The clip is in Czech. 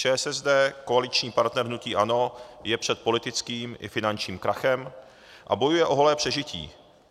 ČSSD, koaliční partner hnutí ANO, je před politickým i finančním krachem a bojuje o holé přežití.